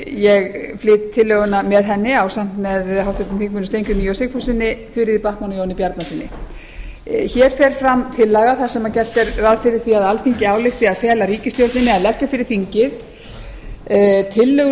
ég flyt tillöguna með henni ásamt með háttvirtum þingmönnum steingrími j sigfússyni þuríði backman og jóni bjarnasyni hér fer fram tillaga þar sem gert er ráð fyrir því að alþingi álykti að fela ríkisstjórninni að leggja fyrir þingið tillögur